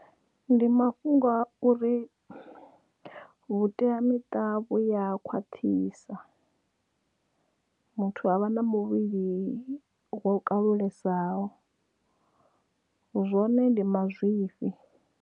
Ndi mafhungo a uri vhuteamiṱa vhu ya khwaṱhisa muthu avha na muvhili wo kalulesaho zwone ndi mazwifhi.